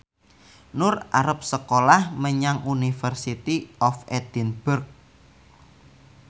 Nur arep sekolah menyang University of Edinburgh